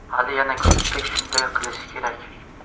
Hali yana ko‘pchilik shunday qilishi kerak.